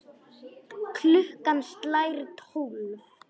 Klukkan slær tólf.